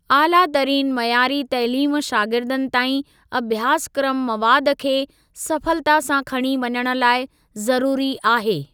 आलातरीन मयारी तइलीम शागिर्दनि ताईं अभ्यासक्रम मवाद खे सफलता सां खणी वञण लाइ ज़रूरी आहे।